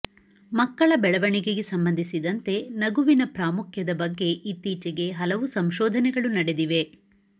ಮಕ್ಕಳ ಬೆಳವಣಿಗೆಗೆ ಸಂಬಂಧಿಸಿದಂತೆ ನಗುವಿನ ಪ್ರಾಮುಖ್ಯದ ಬಗ್ಗೆ ಇತ್ತೀಚೆಗೆ ಹಲವು ಸಂಶೋಧನೆಗಳು ನಡೆದಿವೆ